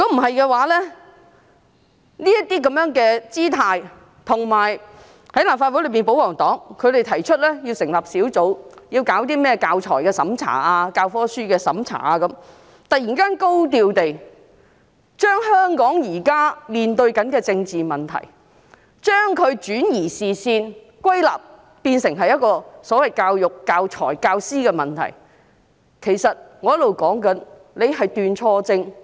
擺出這種姿態後，立法會內的保皇黨又提出要成立小組委員會，審查有關教材和教科書的事宜，突然高調地將香港現時面對的政治問題歸納，變成教育、教材和教師的問題，轉移視線。